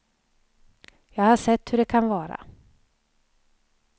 Jag har sett hur de kan vara.